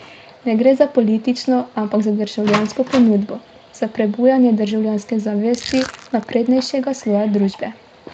Ne gre za politično, ampak za državljansko pobudo, za prebujanje državljanske zavesti naprednejšega sloja družbe.